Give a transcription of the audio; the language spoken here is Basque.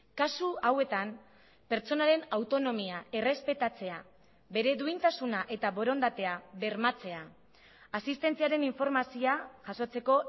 kasu hauetan pertsonaren autonomia errespetatzea bere duintasuna eta borondatea bermatzea asistentziaren informazioa jasotzeko